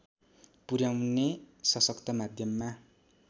पुर्‍याउने सशक्त माध्यममा